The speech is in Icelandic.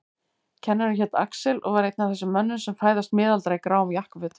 Kennarinn hét Axel og var einn af þessum mönnum sem fæðast miðaldra í gráum jakkafötum.